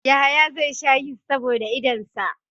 Yahaya zai sha Yist saboda idonsa.